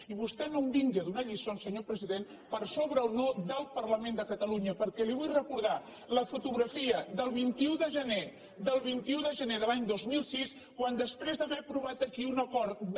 i vostè no em vingui a donar lliçons senyor president per sobre o no del parlament de catalunya perquè li vull recordar la fotografia del vint un de gener del vint un de gener de l’any dos mil sis quan després d’haver aprovat aquí un acord de